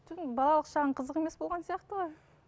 балалық шағын қызық емес болған сияқты ғой